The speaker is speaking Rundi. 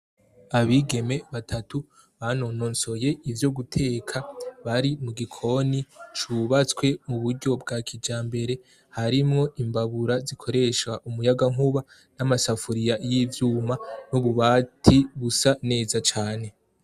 Abigeme batatu banonosoy' ivyo guteka, bari mu gikoni c' ubatswe mu buryo bwa kijambere, harimw' imbabura zikoreshw' umuyagankuba, n, amasafuriya y' ivyuma n' ububati busa neza cane.